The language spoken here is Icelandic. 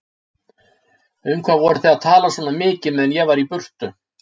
Um hvað voruð þið að tala svona mikið meðan ég var í burtu?